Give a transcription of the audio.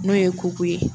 N'o ye kuko ye